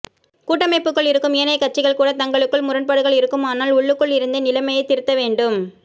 கூட்டமைப்புக்குள் இருக்கும் ஏனைய கட்சிகள்கூட தங்களுக்குள் முரண்பாடுகள் இருக்குமானால் உள்ளுக்குள் இருந்தே நிலைமையைத் திருத்தவேண்டும்